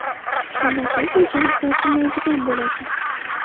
Shunda siz unchalik tortinmaydigan bo‘lasiz.